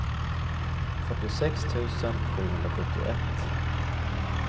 fyrtiosex tusen sjuhundrasjuttioett